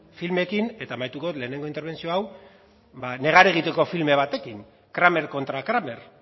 filmekin eta amaituko dut lehenengo interbentzio hau ba negar egiteko film batekin kramer contra kramer